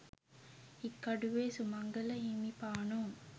Hikkaduwe Sumangala හිමිපාණෝ